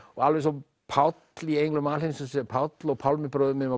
alveg eins og Páll í englum alheimsins er Páll og Pálmi bróðir minn